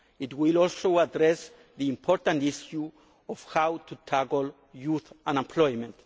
Act. It will also address the important issue of how to tackle youth unemployment.